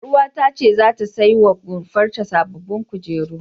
Ƴaruwata ta ce zata sai wa rumfar ta sababbin kujeru.